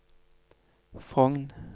Frogn